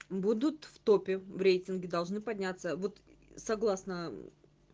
будут в топе в рейтинге должны подняться вот согласна